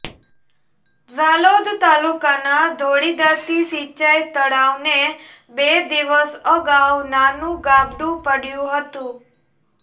ઝાલોદ તાલુકાના ધોળીદાતી સિંચાઇ તળાવને બે દિવસ અગાઉ નાનુ ગાબડું પડયું હતું